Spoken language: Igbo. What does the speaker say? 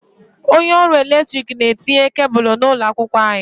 Onye ọrụ eletrik na-etinye kebụlụ n'ụlọ akwụkwọ anyị.